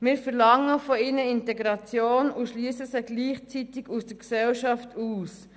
Wir verlangen von ihnen Integration und schliessen sie gleichzeitig aus der Gesellschaft aus.